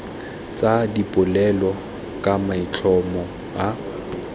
tsa dipolelo ka maitlhomo a